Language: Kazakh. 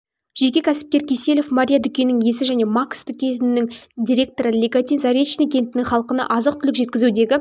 жеке кәсіпкер киселев мария дүкенінің иесі және макс дүкенінің директоры леготин заречный кентінің халқына азық-түлік жеткізудегі